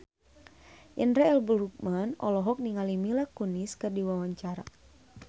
Indra L. Bruggman olohok ningali Mila Kunis keur diwawancara